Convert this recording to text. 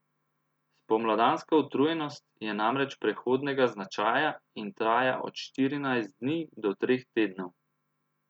Spomladanska utrujenost je namreč prehodnega značaja in traja od štirinajst dni do treh tednov.